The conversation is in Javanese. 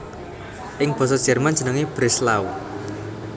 Ing basa Jerman jenengé Breslau